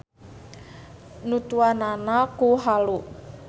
Nutuanana ku halu.